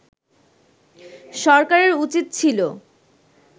সরকারের উচিত ছিল